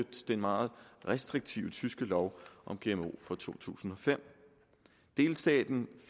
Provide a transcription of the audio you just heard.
den meget restriktive tyske lov om gmo fra to tusind og fem delstaten